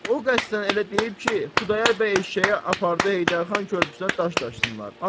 O qəsdən elə deyib ki, Xudayar bəy eşşəyi aparıb Heydərxan körpüsünə daş daşısınlar.